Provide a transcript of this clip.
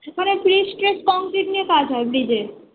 সেখানে pre test concrete নিয়ে কাজ হয় bridge এর